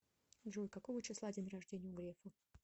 джой какого числа день рождения у грефа